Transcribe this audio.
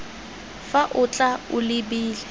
fa o tla o lebile